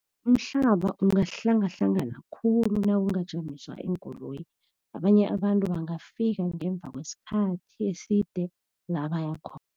Umhlaba ungahlangahlanganisa khulu nakungasijamiswa iinkoloyi, abanye abantu bangafika ngemva kwesikhathi eside la bayakhona.